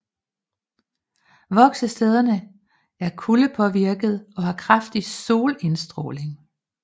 Voksestederne er kuldepåvirkede og har kraftig solindstråling